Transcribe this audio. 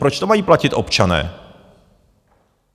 Proč to mají platit občané?